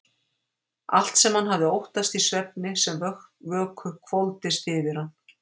Allt sem hann hafði óttast í svefni sem vöku hvolfdist yfir hann.